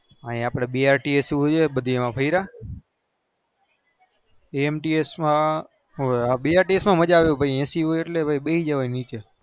અહી અપડે બે માં ફર્યા મજા આવે